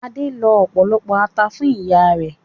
Adé lọ ọ̀pọ̀lọpọ̀ ata fún ìyá rẹ̀.